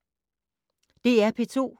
DR P2